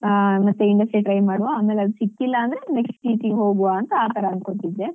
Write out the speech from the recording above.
ಆ ಮತ್ತೆ MNC try ಮಾಡುವ ಆಮೇಲೆ ಅದು ಸಿಕ್ಕಿಲ್ಲ ಅಂದ್ರೆ next teaching ಗೆ ಹೋಗುವ ಅಂತ ಆತರ ಅನ್ಕೊಂಡಿದ್ದೆ.